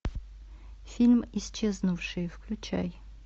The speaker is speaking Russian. фильм исчезнувшие включай